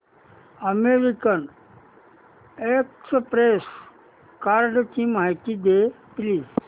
American Express कार्डची माहिती दे प्लीज